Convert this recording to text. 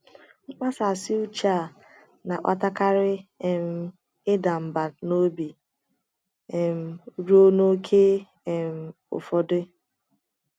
Mkpasasị uche a na - akpatakarị um ịda mbà n’obi — um ruo n’ókè um ụfọdụ.